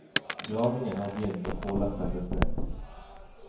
Gravingen har begynt og påler settes ned.